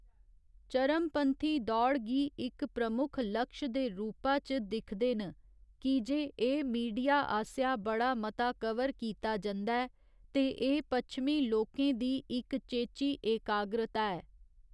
चरमपंथी दौड़ गी इक प्रमुक्ख लक्ष दे रूपा च दिखदे न, की जे एह् मीडिया आसेआ बड़ा मता कवर कीता जंदा ऐ, ते एह् पच्छमी लोकें दी इक चेची एकाग्रता ऐ।